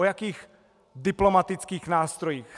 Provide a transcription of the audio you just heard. O jakých diplomatických nástrojích?